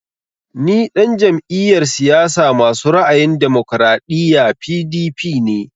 Ni ɗan jam'iyar siyasa masu ra'ayin damokaraɗiya (PDP) ne